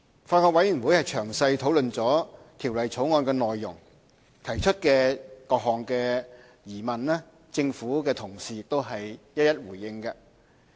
法案委員會詳細討論《條例草案》的內容，提出的各項疑問，政府同事都已一一回應。